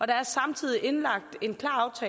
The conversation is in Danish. der er samtidig indlagt